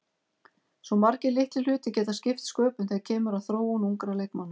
Svo margir litlir hlutir geta skipt sköpum þegar kemur að þróun ungra leikmanna.